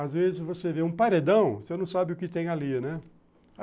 Às vezes você vê um paredão, você não sabe o que tem ali, né?